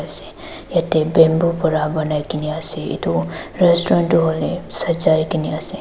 se yate bamboo pra banaikeni ase edu restaurant tu hoilae sajai kene ase.